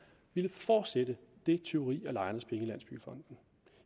ville fortsætte det tyveri af lejernes penge i landsbyggefonden